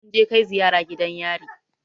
Mun je kai ziyara gidan yari